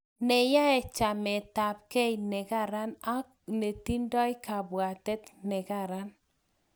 neyae, chametabgei ne Karan ak netindoi kabwatet ne Karan